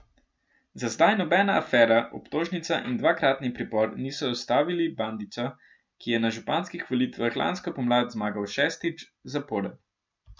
Za zdaj nobena afera, obtožnica in dvakratni pripor niso ustavili Bandića, ki je na županskih volitvah lansko pomlad zmagal šestič zapored.